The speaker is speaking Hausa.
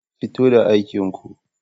Fito da aikin ko.